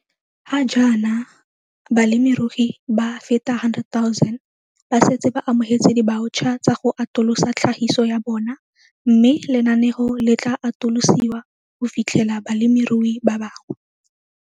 Ga jaana, balemirui ba feta 100 000 ba setse ba amogetse dibaotšha tsa go atolosa tlhagiso ya bona mme lenaneo le tla atolosiwa go fitlhelela balemirui ba bangwe.